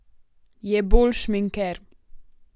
Je bolj šminker.